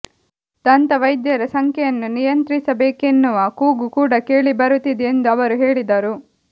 ದಂತವೈದ್ಯರ ಸಂಖ್ಯೆಯನ್ನು ನಿಯಂತ್ರಿಸಬೇಕೆನ್ನುವ ಕೂಗು ಕೂಡ ಕೇಳಿಬರುತ್ತಿದೆ ಎಂದು ಅವರು ಹೇಳಿದರು